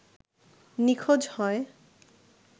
নিখোঁজ হয়